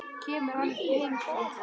Kemur hann heim til ykkar?